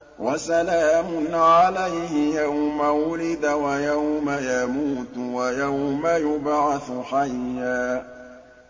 وَسَلَامٌ عَلَيْهِ يَوْمَ وُلِدَ وَيَوْمَ يَمُوتُ وَيَوْمَ يُبْعَثُ حَيًّا